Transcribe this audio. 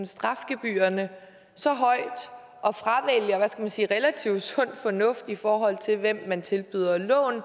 strafgebyrerne så højt og fravælger hvad skal jeg sige relativt sund fornuft i forhold til hvem man tilbyder lån